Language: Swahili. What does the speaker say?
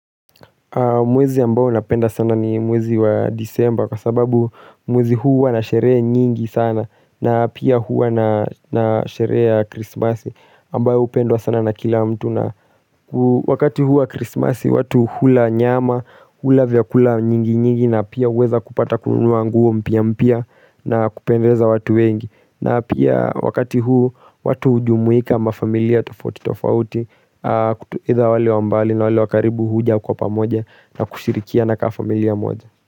Mwezi ambao napenda sana ni mwezi wa disemba kwa sababu mwezi huu wanasheree nyingi sana na pia huu wanasheree ya krismasi ambao upendwa sana na kila mtu na Wakati huu wa krismasi watu hula nyama hula vyakula nyingi nyingi na pia uweza kupata kunua nguo mpia mpia na kupendeza watu wengi na pia wakati huu watu ujumuika mafamilia tofauti tofauti Kutuida wale wambali na wale wakaribu huja kwa pamoja na kushirikiana kafamilia moja.